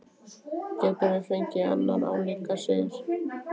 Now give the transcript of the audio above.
Gætum við fengið annan álíka sigur?